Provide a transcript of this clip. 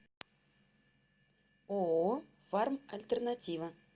ооо фармальтернатива